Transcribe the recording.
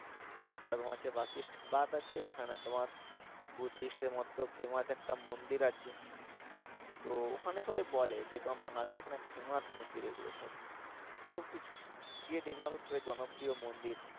একটা তোমার আছে বাথ আছে যেখানে তোমার বুদ্ধিষ্ট এর মতো ফেমাস একটা মন্দির আছে তো ওখানে সবাই বলে যে তোমার মানালী এখানে ফেমাস মন্দির এগুলো সব সবকিছু গিয়ে দেখলাম হচ্ছে জনপ্রিয় মন্দির